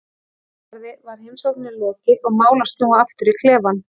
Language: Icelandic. Fyrr en varði var heimsókninni lokið og mál að snúa aftur í klefann.